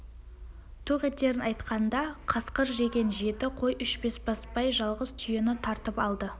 тоқ етерін айтқанда қасқыр жеген жеті қой үшін бесбасбай жалғыз түйені тартып алды